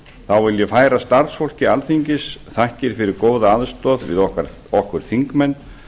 þá vil ég færa starfsfólki alþingis fyrir góða aðstoð við okkur þingmenn